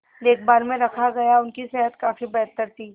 देखभाल में रखा गया उनकी सेहत काफी बेहतर थी